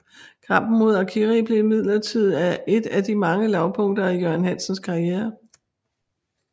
Kampen mod Arcari blev imidlertid et af de mange lavpunkter i Jørgen Hansens karriere